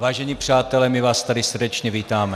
Vážení přátelé, my vás tady srdečně vítáme.